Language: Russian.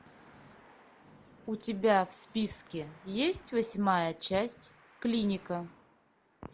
у тебя в списке есть восьмая часть клиника